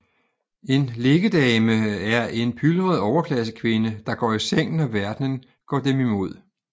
En liggedame er en pylret overklassekvinde der går i seng når verdenen går dem imod